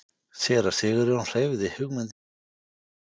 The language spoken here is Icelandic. Séra Sigurjón hreyfði hugmyndinni við hana.